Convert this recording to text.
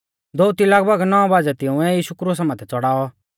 दोअती लगभग नौ बाज़ै तिंउऐ यीशु क्रुसा माथै च़ड़ाऔ